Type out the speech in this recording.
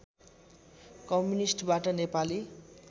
कम्युनिष्टबाट Nepali